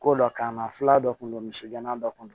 Ko dɔ kanna f'a dɔ kun don misɛnna dɔ kun don